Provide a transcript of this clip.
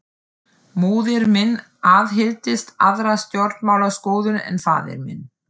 Móðir mín aðhylltist aðra stjórnmálaskoðun en faðir minn.